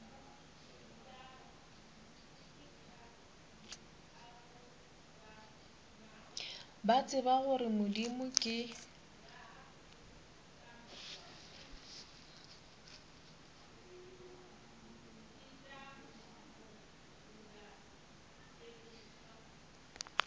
ba tseba gore modimo ke